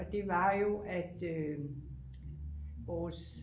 og det var jo at vores